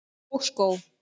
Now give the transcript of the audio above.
Og skó.